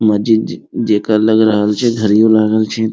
मस्जिद ज जका लग रहल छै घड़ीयो लागल छै।